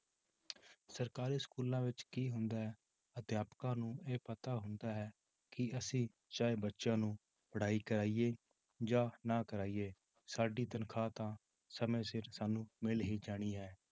ਸਰਕਾਰੀ schools ਵਿੱਚ ਕੀ ਹੁੰਦਾ ਹੈ ਅਧਿਆਪਕਾਂ ਨੂੰ ਇਹ ਪਤਾ ਹੁੰਦਾ ਹੈ ਕਿ ਅਸੀਂ ਚਾਹੇ ਬੱਚਿਆਂ ਨੂੰ ਪੜ੍ਹਾਈ ਕਰਵਾਈਏ ਜਾਂ ਨਾ ਕਰਵਾਈਏ ਸਾਡੀ ਤਨਖਾਹ ਤਾਂ ਸਮੇਂ ਸਿਰ ਸਾਨੂੰ ਮਿਲ ਹੀ ਜਾਣੀ ਹੈ